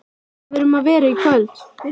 Hvað er um að vera í kvöld?